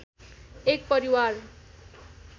एक परिवार